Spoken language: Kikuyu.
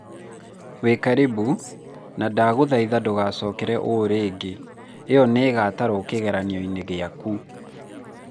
wĩkarĩbũ, na ndagũthaitha ndũgacokere ũũ rĩngĩ, ĩno nĩ ĩgatarwo kĩgeranio-inĩ gĩaku